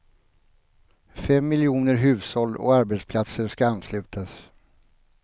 Fem miljoner hushåll och arbetsplatser ska anslutas.